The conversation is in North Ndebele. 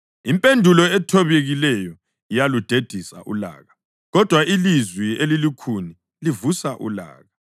Impendulo ethobekileyo iyaludedisa ulaka, kodwa ilizwi elilukhuni livusa ulaka.